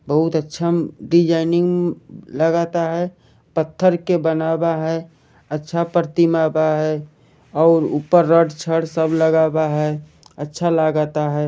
बहुत अच्छा डिजाइनिंग लागाता है पत्थर के बनावा है अच्छा प्रतिमा बा है और ऊपर रड छड़ सब लगा बा है अच्छा लगाता है।